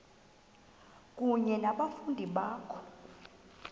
kunye nabafundi bakho